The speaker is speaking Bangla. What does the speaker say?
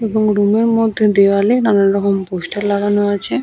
এবং রুম -এর মধ্যে দেওয়ালে নানান রকম পোস্টার লাগানো আছে।